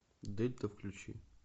дельта включи